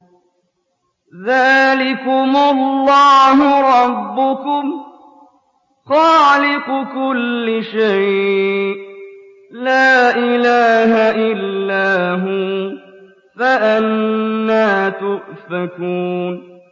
ذَٰلِكُمُ اللَّهُ رَبُّكُمْ خَالِقُ كُلِّ شَيْءٍ لَّا إِلَٰهَ إِلَّا هُوَ ۖ فَأَنَّىٰ تُؤْفَكُونَ